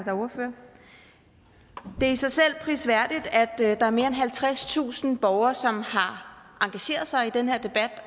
er ordfører det er i sig selv prisværdigt at der er mere end halvtredstusind borgere som har engageret sig i den her debat